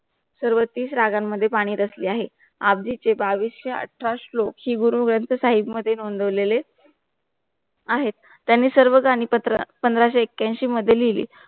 सर्वतीस रागानं मध्ये पाणी दसले आहे अब्दीचे भाविसेचे अत्र श्लोक श्री गुरु ग्रंथ साहिब मध्ये नोंदव लेले आहे त्यांनी सर्व घाणी पत्र पंधरा से आख्यानशी मध्ये लिहिली